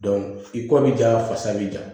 i kɔ bi ja fasa bi ja